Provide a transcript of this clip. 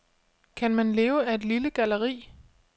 Kan man leve af et lille galleri?